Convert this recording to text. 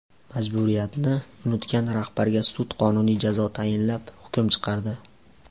Majburiyatni unutgan rahbarga sud qonuniy jazo tayinlab hukm chiqardi.